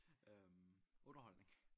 Øh underholdning?